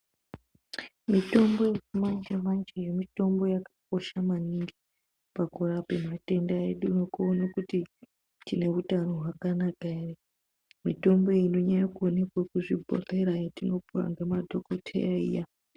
Mutombo yechimanje-manje, mitombo yakakosha maningi, pakurape matenda edu, nekuone kuti tine hutano hwakanaka ere. Mitombo iyi inonyanye kuonekwe kuzvibhodhlera, yatinopuwa ngemadhokodheya iya.